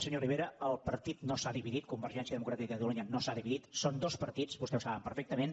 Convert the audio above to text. senyor rivera el partit no s’ha dividit convergència democràtica de catalunya no s’ha dividit són dos partits vostès ho saben perfectament